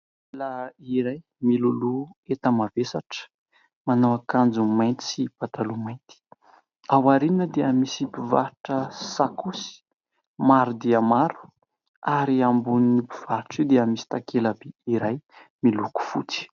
Lehilahy iray miloloha enta-mavesatra, manao akanjo mainty sy pataloha mainty. Ao aoriany dia misy mpivarotra sakaosy maro dia maro, ary ambonin'io mpivarotra io dia misy takela-by iray miloko fotsy.